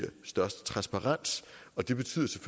størst transparens og det betyder så